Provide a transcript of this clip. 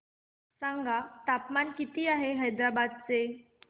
सांगा तापमान किती आहे हैदराबाद चे